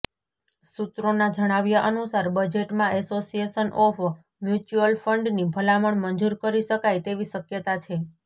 સૂત્રોના જણાવ્યા અનુસાર બજેટમાં એસોસિયેશન ઓફ મ્યુચ્યુઅલ ફંડની ભલામણ મંજૂર કરી શકાય તેવી શક્યતા છે